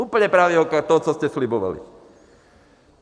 Úplně pravý opak toho, co jste slibovali.